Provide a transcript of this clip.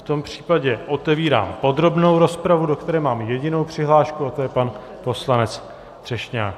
V tom případě otevírám podrobnou rozpravu, do které mám jedinou přihlášku, a to je pan poslanec Třešňák.